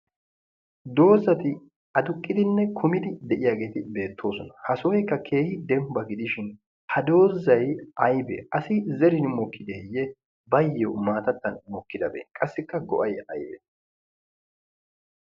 doozzati aduqqidine kuummidi beetiyaageti beettoosona. ha sohoykka keehi dembba gidishin ha doozay aybe? asi zeerin mookideye? qassikaa ayoo go"ay aybee?